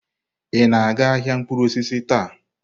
Ị na-aga ahịa mkpụrụ osisi taa?